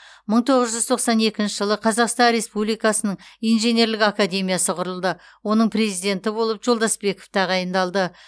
мың тоғыз жүз тоқсан екінші жылы қазақстан республикасының инженерлік академиясы құрылды оның президенті болып жолдасбеков тағайындалды